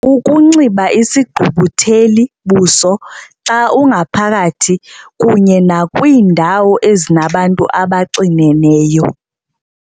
Ukunxiba isigqubutheli-buso xa ungaphakathi kunye nakwiindawo ezinabantu abaxineneyo.